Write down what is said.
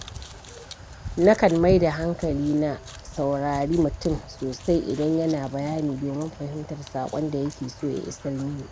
Na kan maida hankali na saurari mutum sosai idan yana bayani domin fahimtar saƙon da yake so ya isar mini.